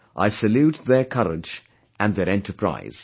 I salute their courage and their enterprise